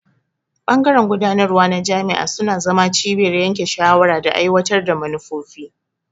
Bangaren gudanarwa na jami'a suna zama cibiyar yanke shawara da aiwatar da manufofi.